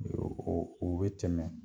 O be tɛmɛ